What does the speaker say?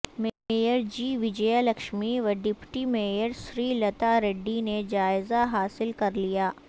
mayor G Vijaya Lakshmi و deputy mayor Sri Latha Reddy نے جائزہ حاصل کرلیا